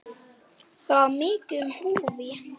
Það var mikið í húfi.